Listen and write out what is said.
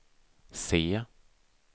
C